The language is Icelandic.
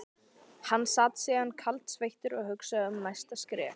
Hann sat síðan kaldsveittur og hugsaði um næsta skref.